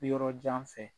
Yɔrɔ jan fɛ